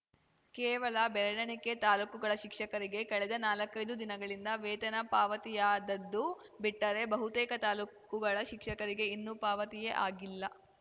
ಕೇವಲ ಬೆರಳೆಣಿಕೆ ತಾಲೂಕುಗಳ ಶಿಕ್ಷಕರಿಗೆ ಕಳೆದ ನಾಲಕೈ ದು ದಿನಗಳಿಂದ ವೇತನ ಪಾವತಿಯಾದದ್ದು ಬಿಟ್ಟರೆ ಬಹುತೇಕ ತಾಲೂಕುಗಳ ಶಿಕ್ಷಕರಿಗೆ ಇನ್ನೂ ಪಾವತಿಯೇ ಆಗಿಲ್ಲ